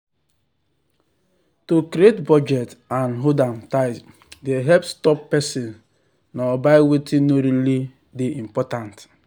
to create budget and hold am tight dey help stop person nor buy wetin no really make dey important.